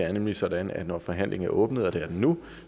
er nemlig sådan at når forhandlingen er åbnet og det er den nu